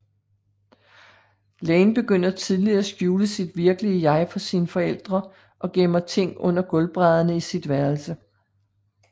Lane begynder tidligt at skjule sit virkelige jeg for sine forældre og gemmer ting under gulvbrædderne i sit værelse